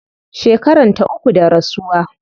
Shekaranta uku da rasuwa